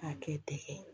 K'a kɛ tɛgɛ ye